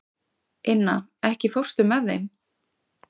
Inna, ekki fórstu með þeim?